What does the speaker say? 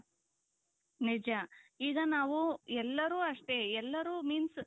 ನಿಜ ಈಗ ನಾವು ಎಲ್ಲರೂ ಅಷ್ಟೆ ಎಲ್ಲರೂ means